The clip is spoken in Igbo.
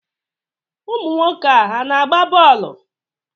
Ụmụ nwoke a na-agba bọọlụ?